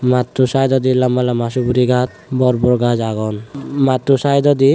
matto saaidodi lamba lamba suguri gaj bor bor gaj agon matto saedodi.